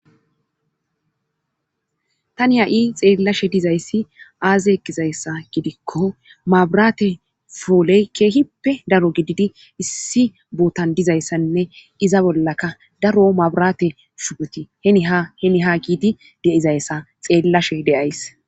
tani ha7i xeellashe dizayssi aazeeqizayssa gidikko mabraate fooley keehippe daro gididi issi bootan dizayssanne iza bollaka daro mabraate shudoti henhaheni ha giidi deizayssa xeellashe deyays